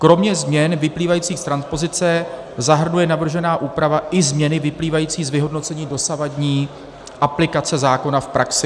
Kromě změn vyplývajících z transpozice zahrnuje navržená úprava i změny vyplývající z vyhodnocení dosavadní aplikace zákona v praxi.